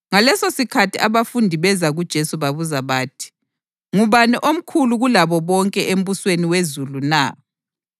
Ngalesosikhathi abafundi beza kuJesu babuza bathi, “Ngubani omkhulu kulabo bonke embusweni wezulu na?”